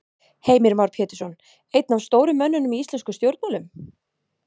Heimir Már Pétursson: Einn af stóru mönnunum í íslenskum stjórnmálum?